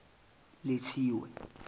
lethiwe